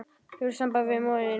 Hefurðu samband við móður þína?